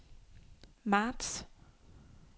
marts